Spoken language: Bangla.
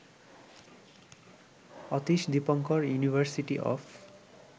Atish Dipankar university of